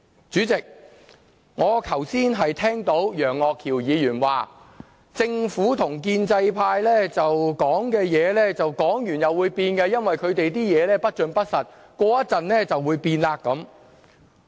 主席，我剛才聽到楊岳橋議員說，政府與建制派說的話，說完會變，因為他們的說話不盡不實，過一會便會變。